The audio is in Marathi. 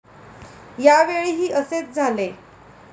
यावेळीही असेच झाले.